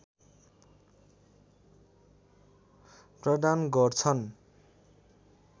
प्रदान गर्छन्